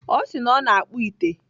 Ọ si na ọ na-akpụ ite.